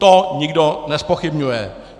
To nikdo nezpochybňuje.